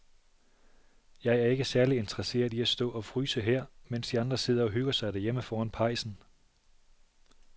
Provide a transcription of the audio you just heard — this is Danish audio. Jeg er ikke særlig interesseret i at stå og fryse her, mens de andre sidder og hygger sig derhjemme foran pejsen.